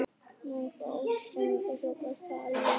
Mér brá ógeðslega mikið og hljóp af stað, alveg í paník.